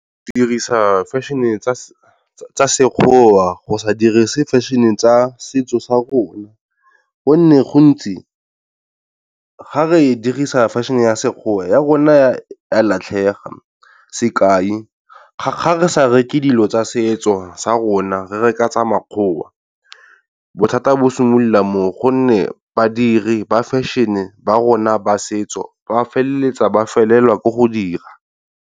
Go dirisa fashion-e tsa Sekgowa, go sa dirise fashion-e tsa setso sa rona gonne gontsi ga re dirisa fashion-e ya Sekgowa ya rona ya latlhega, sekai, ga re sa reke dilo tsa setso sa rona re reka tsa makgowa, bothata bo simolola mo o gonne badiri ba fashion-e ba rona ba setso ba feleletsa ba felelwa ke go dira.